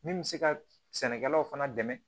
Min bɛ se ka sɛnɛkɛlaw fana dɛmɛ